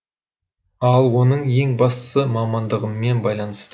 ал оның ең бастысы мамандығыммен байланысты